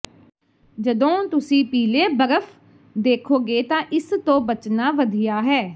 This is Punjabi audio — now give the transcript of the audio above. ਜਦੋਂ ਤੁਸੀਂ ਪੀਲੇ ਬਰਫ਼ ਵੇਖੋਗੇ ਤਾਂ ਇਸ ਤੋਂ ਬਚਣਾ ਵਧੀਆ ਹੈ